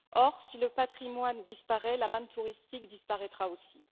Or, si le Patrimoine disparaît, la manne touristique disparaîtra aussi.